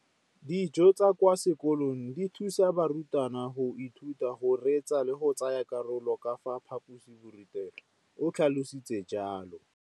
Dijo tsa kwa sekolong dithusa barutwana go ithuta, go reetsa le go tsaya karolo ka fa phaposiborutelong, o tlhalositse jalo.